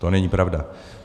To není pravda.